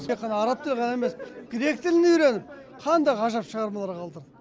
тек қана араб тілін ғана емес грек тілін үйреніп қандай ғажап шығармалар қалдырды